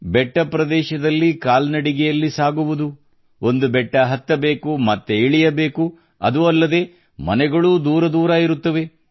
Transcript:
ಬೆಟ್ಟ ಪ್ರದೇಶದ್ಲಲಿ ಕಾಲ್ನಡಿಗೆಯಲ್ಲಿ ಸಾಗುವುದು ಒಂದು ಬೆಟ್ಟ ಹತ್ತಬೇಕು ಮತ್ತೆ ಇಳಿಯಬೇಕು ಅದೂ ಅಲ್ಲದೆ ಮನೆಯೂ ದೂರ ದೂರ ಇರುತ್ತವೆ